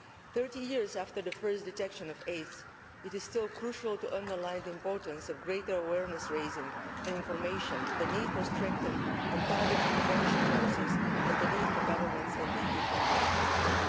Thirty years after the first detection of AIDS, it is still crucial to underline the importance of greater awareness raising and information, the need for strengthened and targeted prevention policies and the need for governments in the EU to remain committed.